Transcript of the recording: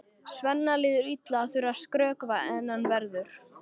Svenna líður illa að þurfa að skrökva en hann verður!